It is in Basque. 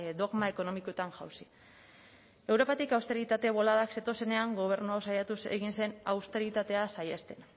dogma ekonomikoetan jausi europatik austeritate boladak zetozenean gobernua hau saiatuz egin zen austeritatea saihesten